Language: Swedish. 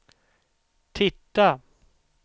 titta